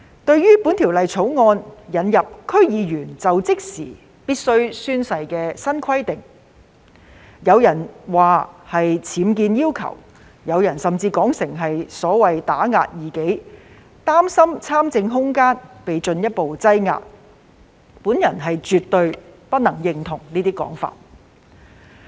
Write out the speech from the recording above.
對於《條例草案》引入區議員在就職時須宣誓的新規定，有人批評是僭建要求，有人甚至說是打壓異己，擔心參政空間會進一步縮窄，我絕對不認同這些說法。